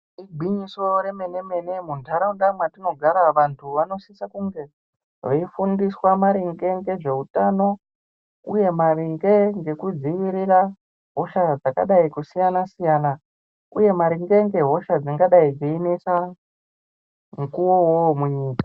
Igwinyiso remene-mene muntaraunda mwatinogara vantu vanosisa kunge veifundiswa maringe ngezveutano uye maringe ngekudzivirira hosha dzakadai kusiyana-siyana uye maringe ngehosha dzingadai dzeinesa mukuwo uwowo munyika.